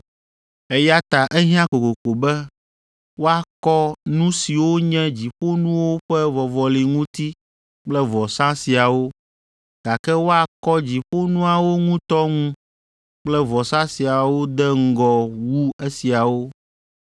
Eya ta ehiã kokoko be woakɔ nu siwo nye dziƒonuwo ƒe vɔvɔli ŋuti kple vɔsa siawo, gake woakɔ dziƒonuawo ŋutɔ ŋu kple vɔsa siwo de ŋgɔ wu esiawo.